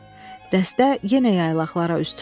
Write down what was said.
Dəstə yenə yaylaqlara üz tutdu.